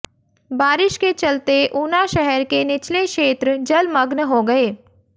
बारिश के चलते ऊना शहर के निचले क्षेत्र जलमग्न हो गए